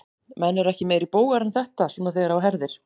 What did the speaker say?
Menn eru ekki meiri bógar en þetta, svona þegar á herðir.